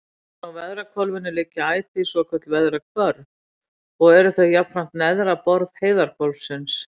Ofan á veðrahvolfinu liggja ætíð svokölluð veðrahvörf og eru þau jafnframt neðra borð heiðhvolfsins.